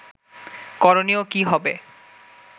করণীয় কী হবে